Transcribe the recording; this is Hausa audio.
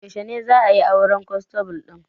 Yaushe za'a yi auren kwanstable ɗin